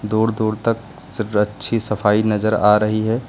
दूर दूर तक अच्छी सफाई नजर आ रही है।